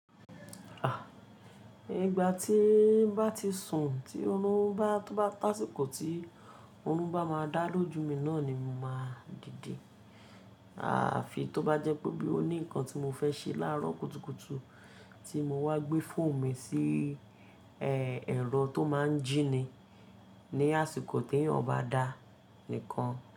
À, ìgbà tí bá ti sùn, tí orún bá tó bá tasiko tí orún bá máa dá lójú mi náà ni mo máa dìde. Àfi tó bá jẹ́ pé bí ó ní ǹkan tí mo fẹ́ ṣe láàrọ́ kùtùkùtù tí mo wá gbé fóòmù mi sí, e, ẹ̀rọ tó máa ń jìnnì ní àsìkò tí eeyan bá da nìkan.